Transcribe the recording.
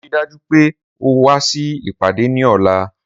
Rii daju pe o wa si ipade ni ọla